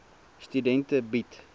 studente bied